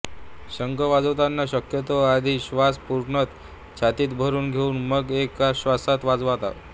शंख वाजवतांना शक्यतो आधी श्वास पूर्णतः छातीत भरून घेऊन मग एका श्वासात वाजवतात